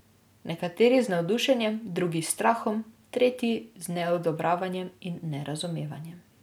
Nekateri z navdušenjem, drugi s strahom, tretji z neodobravanjem in nerazumevanjem.